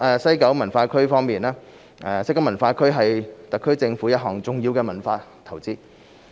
西九文化區西九文化區是特區政府一項重要的文化投資。